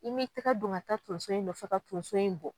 I m'i tɛgɛ don ka taa tonso in nɔfɛ ka tonso in bɔ